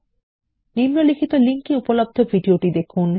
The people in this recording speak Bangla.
নিম্নলিখিত লিঙ্ক এ উপলব্ধ ভিডিওটি দেখুন